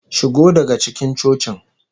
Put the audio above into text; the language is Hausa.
Shigo daga cikin cocin!